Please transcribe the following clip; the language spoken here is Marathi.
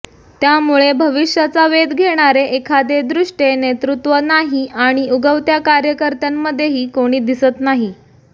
त्यामुळे भविष्याचा वेध घेणारे एखादे द्रष्ट्ये नेतृत्व नाही आणि उगवत्या कार्यकर्त्यांमध्येही कोणी दिसत नाही